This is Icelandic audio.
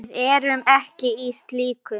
Við erum ekki í slíku.